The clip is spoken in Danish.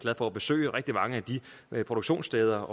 for at besøge rigtig mange af de produktionssteder